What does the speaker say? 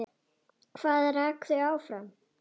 Hvað rak þau áfram?